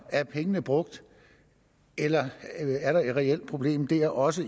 er pengene brugt eller er der et reelt problem der også